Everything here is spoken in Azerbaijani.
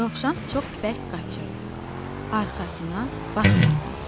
Dovşan çox bərk qaçırdı arxasına baxmadan.